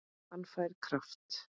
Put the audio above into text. Hún fær kraft.